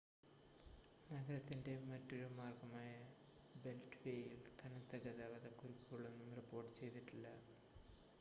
നഗരത്തിൻ്റെ മറ്റൊരു മാർഗ്ഗമായ ബെൽറ്റ് വേയിൽ കനത്ത ഗതാഗത കുരുക്കുകളൊന്നും റിപ്പോർട്ട് ചെയ്തിട്ടില്ല